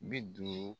Bi duuru